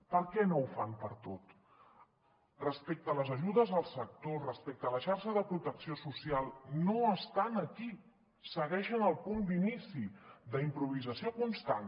per què no ho fan per a tot respecte a les ajudes al sector respecte a la xarxa de protecció social no estan aquí segueixen al punt d’inici d’improvisació constant